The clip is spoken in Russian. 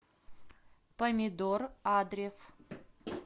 помидор адрес